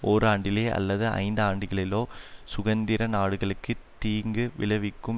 ஓராண்டிலே அல்லது ஐந்து ஆண்டுகளிலோ சுதந்திர நாடுகளுக்கு தீங்கு விளைவிக்கும்